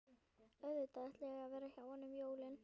Auðvitað ætlaði ég að vera hjá henni um jólin.